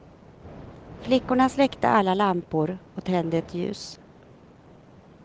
Flickorna släckte alla lampor och tände ett ljus.